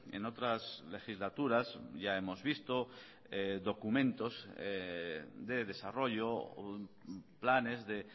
en otras legislaturas ya hemos visto documentos de desarrollo o planes de